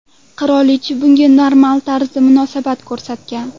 Qirolicha bunga normal tarzda munosabat ko‘rsatgan.